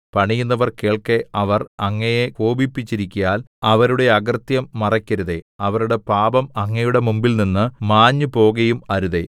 പണിയുന്നവർ കേൾക്കെ അവർ അങ്ങയെ കോപിപ്പിച്ചിരിക്കയാൽ അവരുടെ അകൃത്യം മറെക്കരുതേ അവരുടെ പാപം അങ്ങയുടെ മുമ്പിൽനിന്ന് മാഞ്ഞുപോകയും അരുതേ